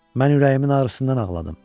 Mən ürəyimin ağrısından ağladım.